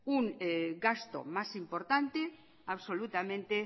un gasto más importante absolutamente